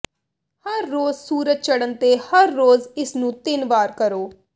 ਹਰ ਰੋਜ਼ ਸੂਰਜ ਚੜ੍ਹਨ ਤੇ ਹਰ ਰੋਜ਼ ਇਸ ਨੂੰ ਤਿੰਨ ਵਾਰ ਕਰੋ